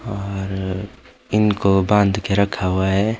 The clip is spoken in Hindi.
और इनको बांध के रखा हुआ है।